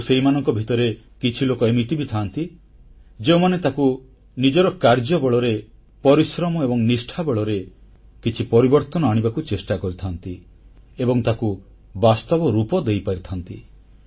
କିନ୍ତୁ ସେହିମାନଙ୍କ ଭିତରେ କିଛି ଲୋକ ଏମିତି ବି ଥାଆନ୍ତି ଯେଉଁମାନେ ତାକୁ ନିଜର କାର୍ଯ୍ୟ ବଳରେ ପରିଶ୍ରମ ଏବଂ ନିଷ୍ଠା ବଳରେ କିଛି ପରିବର୍ତ୍ତନ ଆଣିବାକୁ ଚେଷ୍ଟା କରିଥାନ୍ତି ଏବଂ ତାକୁ ବାସ୍ତବ ରୂପ ଦେଇପାରିଥାନ୍ତି